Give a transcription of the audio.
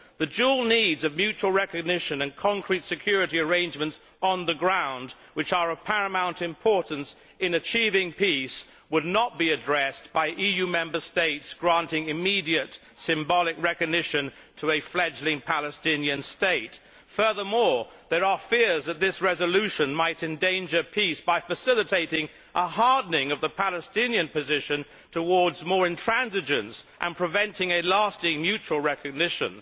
The dual needs of mutual recognition and concrete security arrangements on the ground, which are of paramount importance in achieving peace, would not be addressed by EU Member States granting immediate symbolic recognition to a fledgling Palestinian state. Furthermore, there are fears that this resolution might endanger peace by facilitating a hardening of the Palestinian position towards more intransigence and preventing lasting mutual recognition.